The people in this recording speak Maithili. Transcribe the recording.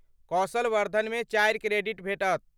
कौशल वर्द्धनमे चारि क्रेडिट भेटत।